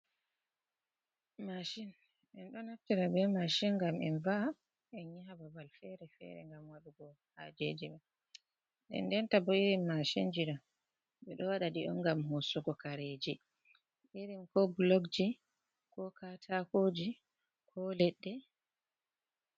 Mashin enɗo Naftira be Mshin ngam en va’a, en Yaha babal Fere-fere. ngam waɗugo hajejima. Nden ndenta bo irin Mashinjiɗo ɓe ɗo waɗaɗ'on ngam hosugo Kareji irin ko Bulokji ko Katakoji ko Ledɗe.